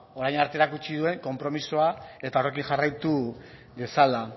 orain arte erakutsi duen konpromisoa eta horrekin jarraitu dezala